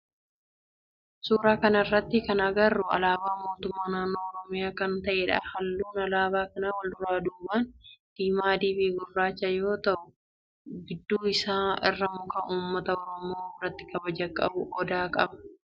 Suuraa kana irratti kan agarru alaabaa mootummaa naannoo oromiyaa kan ta'edha. Halluun alaabaa kana walduraa duuban diimaa, adii fi gurraacha yoo ta'u gidduu isaa irraa muka ummata oromoo biratti kabaja qabu odaa qaba.